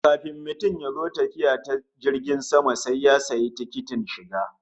Kafin mutum ya zo tafiya ta jirgin sama sai ya sayi tikitin shiga